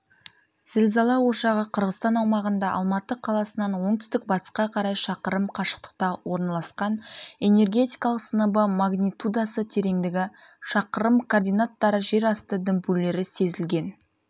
зілзала ошағы қырғызстан аумағында алматы қаласынан оңтүстік-батысқа қарай шақырым қашықтықта орналасқан энергетикалық сыныбы магнитудасы тереңдігі шақырым координаттары жер асты дүмпулері сезілген